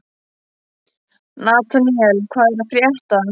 Nataníel, hvað er að frétta?